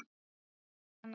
í Kanada.